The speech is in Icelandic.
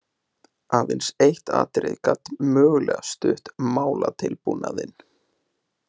Aðeins eitt atriði gat mögulega stutt málatilbúnaðinn.